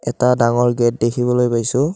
এটা ডাঙৰ গেট দেখিবলৈ পাইছোঁ।